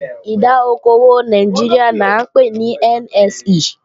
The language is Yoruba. Ìdá okò òwò Nàìjíríà là ńpè ní NSE